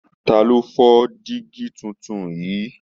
Ta ló fọ dígí tuntun yìí?